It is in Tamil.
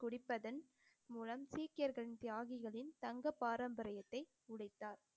குடிப்பதன் மூலம் சீக்கியர்களின் தியாகிகளின் தங்க பாரம்பரியத்தை உடைத்தார்